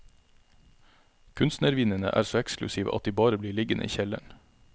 Kunstnervinene er så eksklusive at de bare blir liggende i kjelleren.